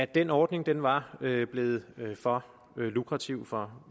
den ordning var blevet for lukrativ for